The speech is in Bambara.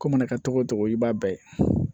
Ko mana kɛ togo togo i b'a bɛɛ ye